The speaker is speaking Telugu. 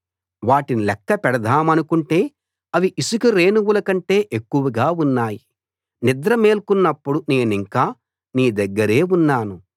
వాటిని లెక్కపెడదామనుకుంటే అవి ఇసక రేణువుల కంటే ఎక్కువగా ఉన్నాయి నిద్ర మేల్కొన్నప్పుడు నేనింకా నీ దగ్గరే ఉన్నాను